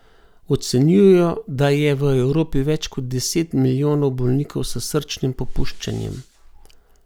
Ocenjujejo, da je v Evropi več kot deset milijonov bolnikov s srčnim popuščanjem.